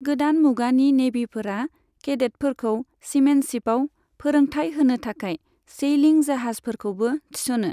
गोदान मुगानि नेभिफोरा केडेटफोरखौ सीमेनशिपआव फोरोंथाइ होनो थाखाय सेइलिं जाहाजफोरखौबो थिस'नो।